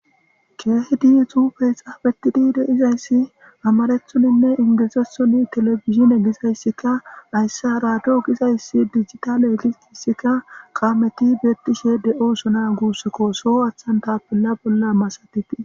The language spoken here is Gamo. keehedi xufe xaafetidi deizayssi amarethoninne ingezasoni telefizine gizayssika ayssa raado gizayssi digitale egis issika qaameti beettishe de7osona guussekkoso aththan tapella bolla masatitii